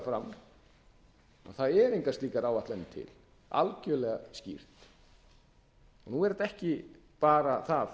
fram að það eru engar slíkar áætlanir til algjörlega skýrt nú er þetta ekki bara það